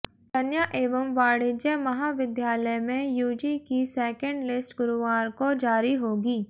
कन्या एंव वाणिज्य महाविधालय में यूजी की सेकेण्ड लिस्ट गुरूवार को जारी होगी